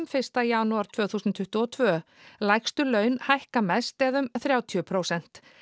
fyrsta janúar tvö þúsund tuttugu og tvö lægstu laun hækka mest eða um þrjátíu prósent